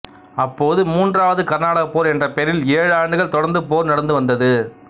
அப்போது மூன்றாவது கர்நாடக போர் என்ற பெயரில் ஏழு ஆண்டுகள் தொடர்ந்து போர் நடந்து வந்தது